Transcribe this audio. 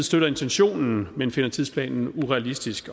støtter intentionen men finder tidsplanen urealistisk